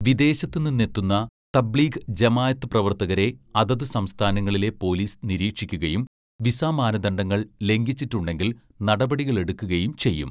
"വിദേശത്ത് നിന്നെത്തുന്ന തബ്ലീഗ് ജമാഅത്ത് പ്രവര്‍ത്തകരെ അതത് സംസ്ഥാനങ്ങളിലെ പൊലീസ് നിരീക്ഷിക്കുകയും വിസ മാനദണ്ഡങ്ങള്‍ ലംഘിച്ചിട്ടുണ്ടെങ്കില്‍ നടപടികളെടുക്കുകയും ചെയ്യും. "